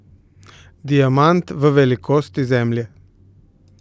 Diamant v velikosti Zemlje?